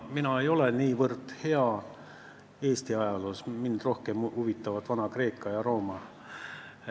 Mina ei ole Eesti ajaloos niivõrd hea, mind huvitavad rohkem Vana-Kreeka ja Vana-Rooma.